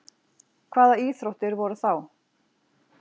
hvaða íþróttir voru þá